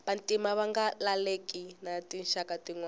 vantima ava nga laleli na tinxaka tinwana